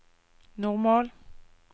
normal